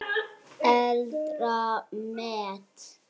Eldra met